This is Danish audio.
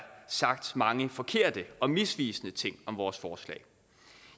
sagt mange forkerte og misvisende ting om vores forslag